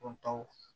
Dɔn taw